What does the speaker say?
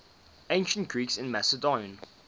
ancient greeks in macedon